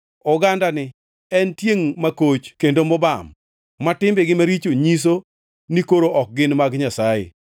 Ogandani en tiengʼ makoch kendo mobam, ma timbegi maricho nyiso, ni koro ok gin mag Nyasaye.